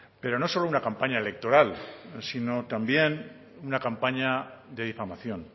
pero no solo una campaña electoral sino también una campaña de difamación